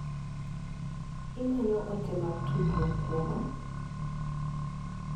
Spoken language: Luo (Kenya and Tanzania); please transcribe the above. Imanyo ote mag tudruok kuoma?